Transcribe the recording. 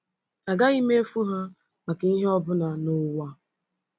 Agaghị m efu ha maka ihe ọ bụla n’ụwa!